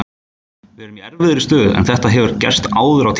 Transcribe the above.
Við erum í erfiðri stöðu, en þetta hefur gerst áður á tímabilinu.